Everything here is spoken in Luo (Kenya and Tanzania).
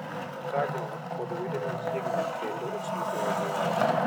Ka joot kod wede machiegni kendo osiepe obuoro.